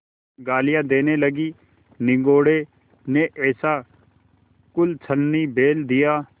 गालियाँ देने लगीनिगोडे़ ने ऐसा कुलच्छनी बैल दिया